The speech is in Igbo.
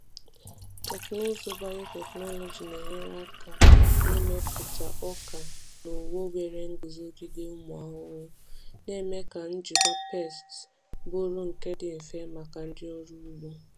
Teknụzụ biotechnology na-enyere aka n’ịmepụta ọka na owu nwere nguzogide ụmụ ahụhụ, na-eme ka njikwa pests bụrụ nke dị mfe maka ndị ọrụ ugbo.